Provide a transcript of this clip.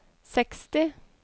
seksti